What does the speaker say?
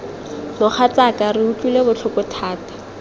mogatsaaka re utlwile botlhoko thata